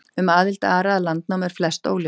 Um aðild Ara að Landnámu er flest óljóst.